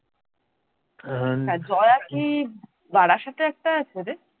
জয়া কি বারাসাতে একটা আছে রে?